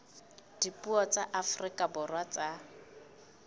dipuo tsa afrika borwa tsa